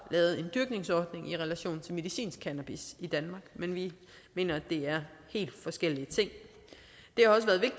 lavet en dyrkningsordning i relation til medicinsk cannabis i danmark men vi mener at det er helt forskellige ting